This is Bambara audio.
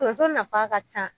Tonso nafa ka ca